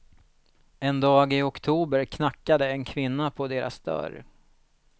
En dag i oktober knackade en kvinna på deras dörr.